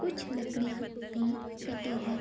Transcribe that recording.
कुछ लकड़ियाँ भी कटे हैं |